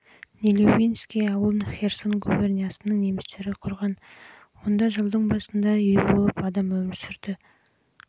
нелюбинский ауылын херсон губерниясының немістері құрған онда жылдың басында үй болып адам өмір сүрді немістер дала